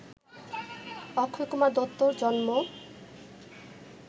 অক্ষয়কুমার দত্তর জন্ম